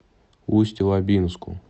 усть лабинску